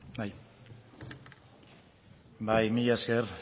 bai bai mila esker